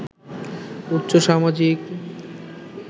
উচ্চ সামাজিক